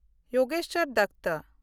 Jogeswar Dutta